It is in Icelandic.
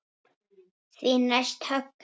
Þær hvína þöglar.